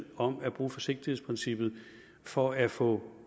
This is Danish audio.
om at bruge forsigtighedsprincippet for at få